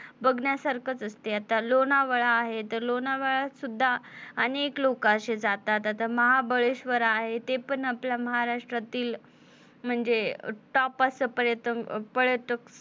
बघण्यासारखंच असते आता लोणावळा आहे तर लोणावळ्यात सुद्धा अनेक लोक अशी जातात आता महाबळेशवर आहे ते पण आपल्या महाराष्ट्रातील म्हणजे top असं पर्यतलं पर्यटन,